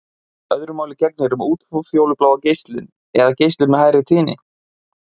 Öðru máli gegnir um útfjólubláa geislun eða geislun með hærri tíðni.